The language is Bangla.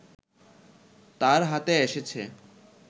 তাঁর হাতে এসেছে